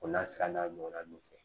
O n'a sira n'a ɲɔgɔnna ninnu fɛ